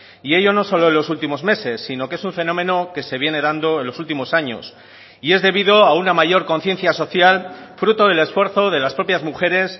y ello no solo en los últimos meses sino que es un fenómeno que se viene dando en los últimos años y es debido a una mayor conciencia social fruto del esfuerzo de las propias mujeres